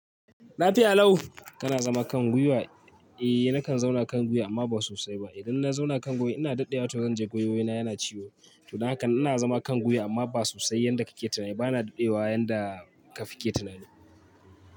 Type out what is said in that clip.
Lafiya lau. Kana zama kan gwiwa? Eh nakan zauna kan gwiwa amma ba sosai ba. Idan na zauna kan gwiwa ina daɗewa to zan ji gwiwoyina yana ciwo. To dan haka ina zama kan gwiwa amma ba sosai yanda kake tunani. Ba na dade yanda kafi ke tunani.